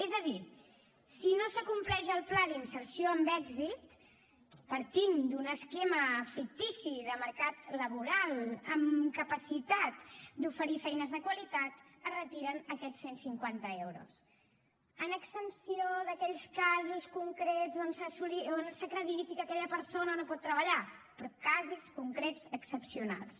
és a dir si no s’acompleix el pla d’inserció amb èxit partint d’un esquema fictici de mercat laboral amb capacitat d’oferir feines de qualitat es retiren aquests cent cinquanta euros en exempció d’aquells casos concrets on s’acrediti que aquella persona no pot treballar però casos concrets excepcionals